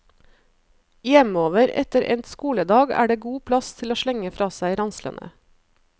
Hjemover etter endt skoledag er det god plass til å slenge fra seg ranslene.